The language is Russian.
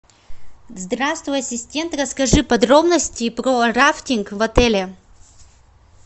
здравствуй ассистент расскажи подробности про рафтинг в отеле